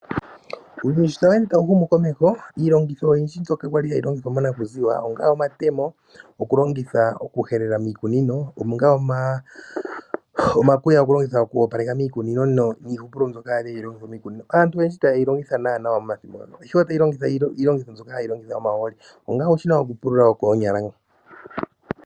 Uuyuni sho tawu ende tawu ende wu uka komeho iilongitho oyindji mbyoka kwali hayi longithwa monakuziwa onga omatemo, okulongitha oku helela miikunino, onga omakuya okulongitha oku opaleka miikunino niihupulo mbyoka kwali hayi longithwa miikunino aantu oyendji ita yeyi longitha we momathimbo ngaka ihe otaya longitha iilongitho mbyoka mbyoka hayi longitha omahooli